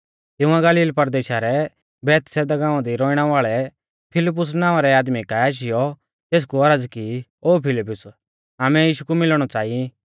तिंउऐ गलील परदेशा रै बैतसैदा गाँवा दी रौइणै वाल़ै फिलिप्पुस नावां रै आदमी काऐ आशीयौ तेसकु औरज़ की ओ फिलिप्पुस आमै यीशु कु मिलणौ च़ांई